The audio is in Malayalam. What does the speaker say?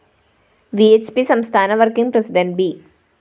വി ഹ്‌ പി സംസ്ഥാന വര്‍ക്കിംഗ്‌ പ്രസിഡന്റ്‌ ബി